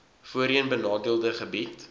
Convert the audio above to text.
voorheen benadeelde gebiede